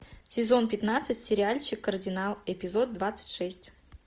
сезон пятнадцать сериальчик кардинал эпизод двадцать шесть